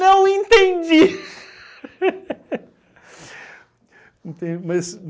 Não entendi! Entende? Mas